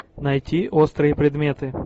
найти острые предметы